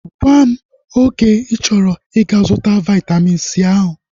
Gwam oge ịchọrọ ịga-zụta Vaitamin C ahu